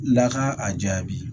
Laka a jaabi